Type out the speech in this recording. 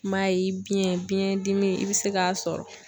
I m'a ye biyɛn biyɛndimi i bɛ se k'a sɔrɔ.